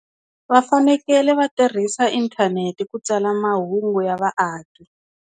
Va fanekele va tirhisa inthanete ku tsala mahungu ya vaaki.